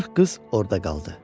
Qırx qız orda qaldı.